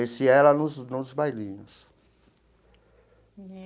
Conheci ela nos nos bailinhos.